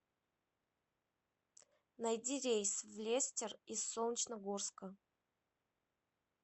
найди рейс в лестер из солнечногорска